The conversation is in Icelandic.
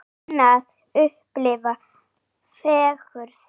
Að kunna að upplifa fegurð?